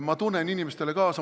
Ma tunnen inimestele kaasa.